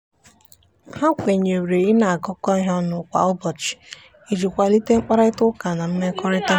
ha kwenyere ị na-agakọ ihe ọnụ kwa ụbọchị iji kwalite mkparịtaụka na mmekọrịta.